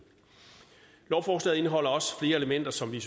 lovforslaget indeholder også flere elementer som vi